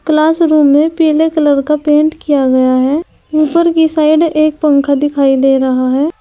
Classroom में पीले colour का पेंट किया गया है ऊपर की साइड एक पंखा दिखाई दे रहा है।